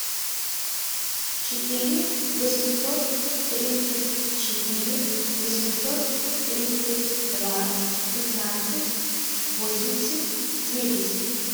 четыре восемьсот тридцать четыре восемьсот тридцать два пятнадцать восемьдесят девять